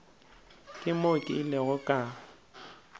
ke mo ke ilego ka